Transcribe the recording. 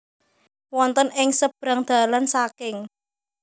Wonten ing sebrang dalan saking